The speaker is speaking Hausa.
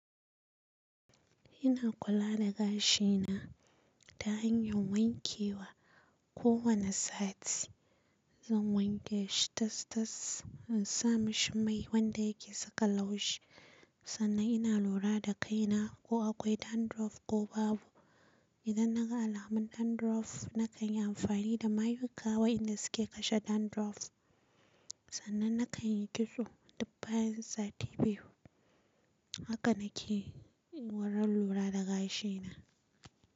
Ina kula da gashi na ta hanyar wanke wa kowane sati. Zan wanke shi tas-tas in sa mashi mai wanda yake saka laushi. Sannan ina lura da kaina ko akwai dandruff ko babu. Idan na ga alaman dandruff, na kan yi amfani da mayuka wa'inda su ke kashe dandruff. Sannan na kan yi kitso dubba yansati biyu. Haka na ke warar lura da gashi na.